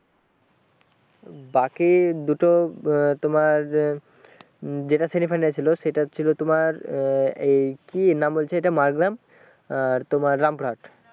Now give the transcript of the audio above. বাকি দুটো আহ তোমার উম যেটি semi final ছিল সেটা ছিল তোমার আহ এই কি নাম বলছে একটা মাড়গ্রাম আর তোমার রামপুরহাট